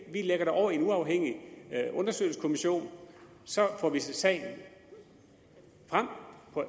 vi lægger det over i en uafhængig undersøgelseskommission så får vi sagen frem